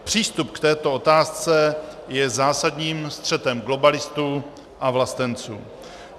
Přístup k této otázce je zásadním střetem globalistů a vlastenců.